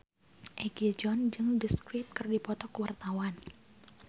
Egi John jeung The Script keur dipoto ku wartawan